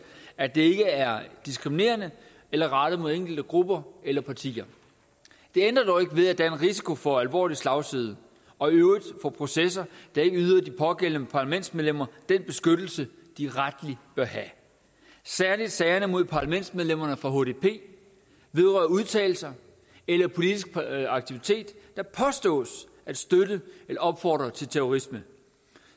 at det ikke er diskriminerende eller rettet mod enkelte grupper eller partier det ændrer dog ikke ved at der er en risiko for alvorlig slagside og i øvrigt for processer der ikke yder de pågældende parlamentsmedlemmer den beskyttelse de rettelig bør have særlig sagerne mod parlamentsmedlemmerne fra hdp vedrører udtalelser eller politisk aktivitet der påstås at støtte eller opfordre til terrorisme